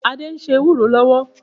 Adé ń se ewúró lọ́wọ́.